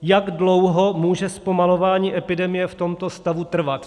Jak dlouho může zpomalování epidemie v tomto stavu trvat?